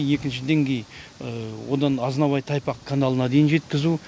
екінші деңгей одан азынабай тайпақ каналына дейін жеткізу